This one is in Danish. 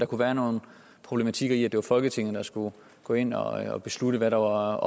kunne være nogle problematikker i at det var folketinget der skulle gå ind og beslutte hvad der var